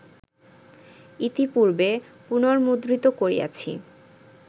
ইতিপূর্বে পুনর্মুদ্রিত করিয়াছি